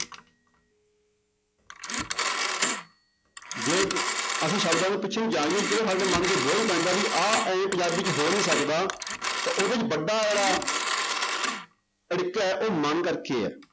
ਜੇ ਅਸੀਂ ਸਾਡੇ ਮਨ ਪੈਂਦਾ ਵੀ ਆਹ ਇਉਂ ਪੰਜਾਬੀ 'ਚ ਹੋ ਨੀ ਸਕਦਾ ਤੇ ਉਹਦੇ 'ਚ ਅੜਿਕੇ ਆਇਆ ਉਹ ਮਨ ਕਰਕੇ ਹੈ।